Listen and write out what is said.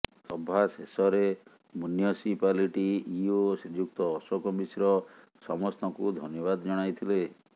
ସଭା ଶେଷରେ municipality EO Shriyukta Ashok Mishra ସମସ୍ତଙ୍କୁ ଧନ୍ୟବାଦ ଜଣାଇଥିଲେ